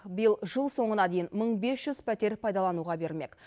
биыл жыл соңына дейін мың бес жүз пәтер пайдалануға берілмек